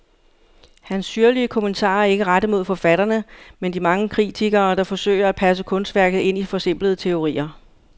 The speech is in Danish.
Hans syrlige kommentarer er ikke rettet mod forfatterne, men de mange kritikere, der forsøger at passe kunstværket ind i forsimplende teorier.